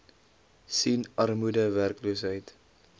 sien armoede werkloosheid